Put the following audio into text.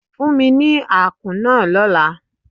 Fún mi ní àkún náà lọ́la.